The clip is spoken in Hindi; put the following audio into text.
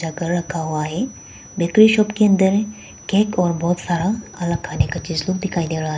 रखा हुआ है बेकरी शॉप के अंदर केक और बहुत सारा अलग खाने का चीज लोग दिखाई दे रहा है।